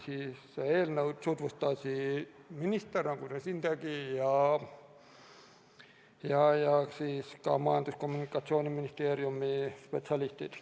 Eelnõu tutvustasid minister, nagu ta ka siin tegi, ja Majandus- ja Kommunikatsiooniministeeriumi spetsialistid.